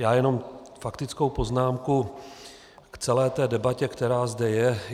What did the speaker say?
Já jenom faktickou poznámku k celé té debatě, která zde je.